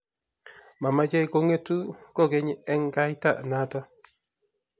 Mameche kung'etu kukeny eng' kaita noto